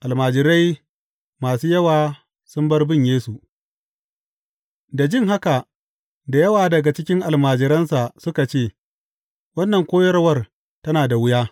Almajirai masu yawa sun bar bin Yesu Da jin haka, da yawa daga cikin almajiransa suka ce, Wannan koyarwa tana da wuya.